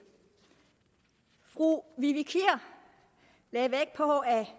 fru vivi kier lagde vægt på at